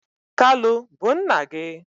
kalu bu nna gi?